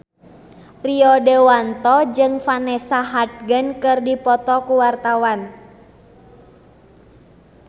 Rio Dewanto jeung Vanessa Hudgens keur dipoto ku wartawan